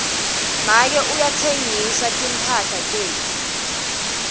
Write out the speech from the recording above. make uye kutsenga timphahla tetfu